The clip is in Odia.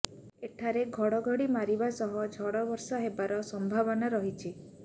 ଏଠାରେ ଘଡ଼ଘଡ଼ି ମାରିବା ସହ ଝଡ଼ବର୍ଷା ହେବାର ସମ୍ଭାବନା ରହିଛି